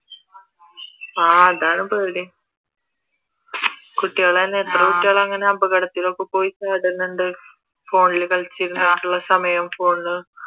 ആഹ് അതാണ് പേടി കുട്ടികൾ തന്നെ എത്ര കുട്ടികൾ അങ്ങനെ അപകടത്തിൽ ഒക്കെ പോയി ചാടുന്നുണ്ട് ഫോണിൽ കളിച്ച് ഇരുന്നിട്ട് ഏത് സമയോം ഫോണിൽ